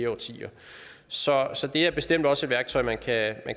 årtier så så det er bestemt også et værktøj man kan